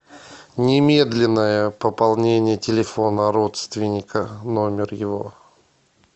немедленное пополнение телефона родственника номер его